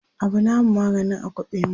Abu namu maganin a kwaɓe mu